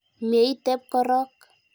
Mye itep korok.